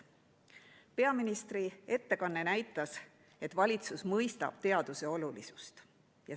Peaministri ettekanne näitas, et valitsus mõistab teaduse olulisust.